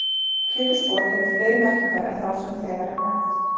Pétursspor hefur fleiri merkingar en þá sem þegar er nefnd.